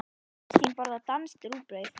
Kristín borðar danskt rúgbrauð.